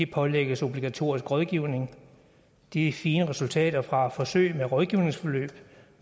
pålægges obligatorisk rådgivning de fine resultater fra forsøg med rådgivningsforløb